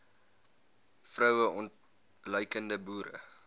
vroue ontluikende boere